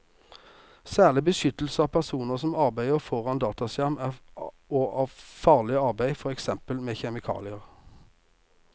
Særlig beskyttelse av personer som arbeider foran dataskjerm og av farlig arbeid, for eksempel med kjemikalier.